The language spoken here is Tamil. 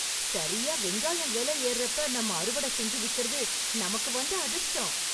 சரியா வெங்காயம் வெல ஏர்றப்ப நம்ம அறுவடை செஞ்சு விக்கறது நமக்கு வந்த அதிர்ஷ்டம்